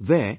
There